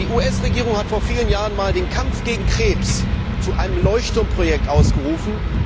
Die US Regierung hat vor vielen Jahren einmal den Kampf gegen Krebs zu einem Leuchtturmprojekt ausgerufen.